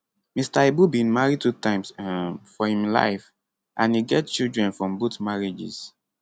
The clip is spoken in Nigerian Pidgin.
mr ibu bin marry two times um for im life and e get children from both marriages